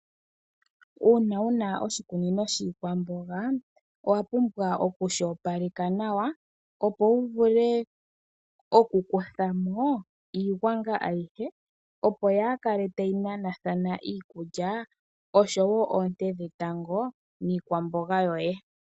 Uuna wuna oshikunino shiikwamboga, owa pumbwa okushi opaleka nawa opo wu vule okukutha mo iigwanga ayihe. Opo ya kale tayi nanathana iikulya oshowo oonte dhetango niikwamboga yoye.